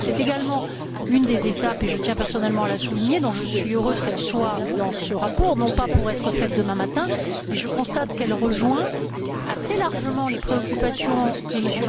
C'est également une des étapes et je tiens personnellement à la souligner dont je suis heureuse qu'elle soit dans ce rapport, non pas pour être franchie demain matin, mais je constate qu'elle rejoint assez largement les préoccupations que M.